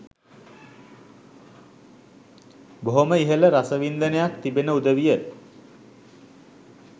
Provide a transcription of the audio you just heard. බොහොම ඉහළ රසවින්දනයක් තිබෙන උදවිය